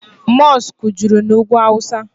mọskụ juru na ugwu awụsa.